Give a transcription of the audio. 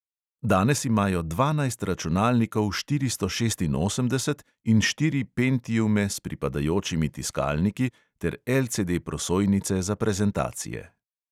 Danes imajo dvanajst računalnikov štiri osem šest in štiri pentiume s pripadajočimi tiskalniki ter LCD prosojnice za prezentacije.